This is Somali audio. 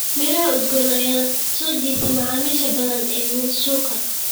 Miraha udgoon ayaa soo jiitay macaamiisha badan ee suuqa.